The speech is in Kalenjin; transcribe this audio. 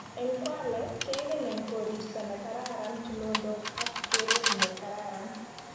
eng kwale kengen eng koristo ne kararan tulondok ak keret ne kararan